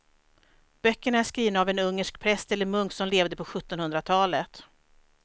Böckerna är skrivna av en ungersk präst eller munk som levde på sjuttonhundratalet.